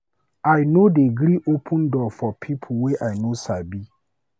I no dey gree open door for pipo wey I no sabi.